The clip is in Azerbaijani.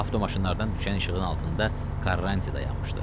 Avtomaşınlardan düşən işığın altında Karranti dayanmışdı.